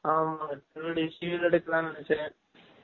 ஆமா civil , civil எடுகலாம் நினைசேன்